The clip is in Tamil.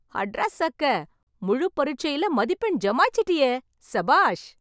அட்ரா சக்க! முழு பரிட்சையில் மதிப்பெண் ஜமாச்சிட்டியே, சபாஷ்!